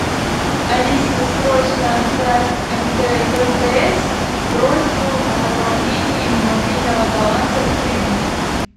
алиса срочно отправь в мтс просьбу о пополнении мобильного баланса в кредит